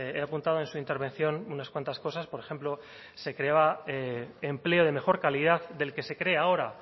he apuntado en su intervención unas cuantas cosas por ejemplo se creaba empleo de mejor calidad del que se crea ahora